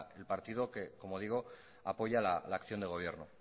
el partido que apoya la acción de gobierno